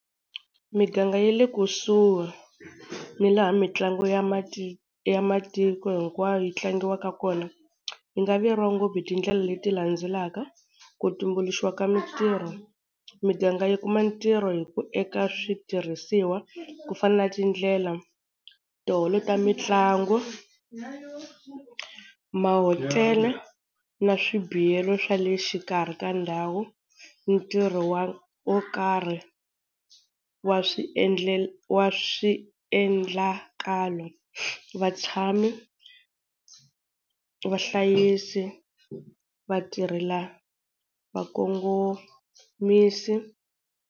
Miganga ya le kusuhi ni laha mitlangu ya ya matiko hinkwayo yi tlangiwaka kona yi nga vuyeriwa ngopfu hi tindlela leti landzelaka, ku tumbuluxiwa ka mintirho, miganga yi kuma ntirho hi ku eka switirhisiwa ku fana na tindlela, tiholo ta mitlangu, mahotela na swibiyelo swa le xikarhi ka ndhawu, ntirho wa wo karhi wa wa swiendlakalo, vatshami, vahlayisi, vatirhela va kongomisi.